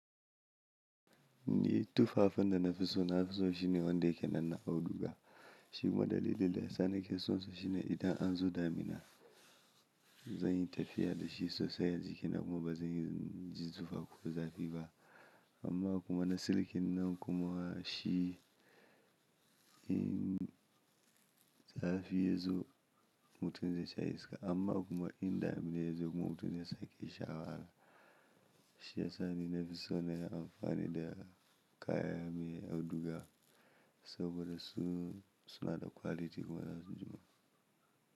Ni tufafanda na fiso na fiso shine wanda yake nan a auduga shi gwada lile da sa ni ke son so shine idan an zo damina zan yi tafiya da shi sosai a jikina kuma bazan yi jizufa ko zafi ba amma kuma na siliki nnan kuma shi in zafi yazo mutum zai sha iska amma kuma in damina yazo kuma mutum ya sake sha wahala shi ya sa ni na fi so na amfani da kaya mai auduga saboda su suna da kwaliti kuma zan jima.